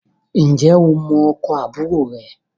Ǹjẹ́ o mọ ọkọ̀ àbúrò rẹ